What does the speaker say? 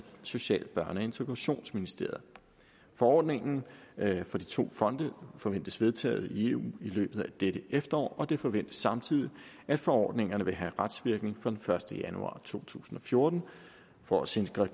social børne og integrationsministeriet forordningen for de to fonde forventes vedtaget i eu i løbet af dette efterår og det forventes samtidig at forordningerne vil have retsvirkning fra den første januar to tusind og fjorten for at sikre